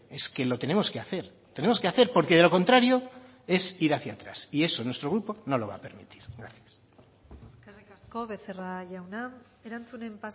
es que lo tenemos que hacer tenemos que hacer porque de lo contrario es ir hacia atrás y eso nuestro grupo no lo va a permitir gracias eskerrik asko becerra jauna erantzunen